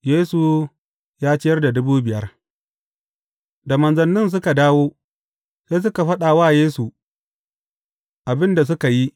Yesu ya ciyar da dubu biyar Da manzannin suka dawo, sai suka faɗa wa Yesu abin da suka yi.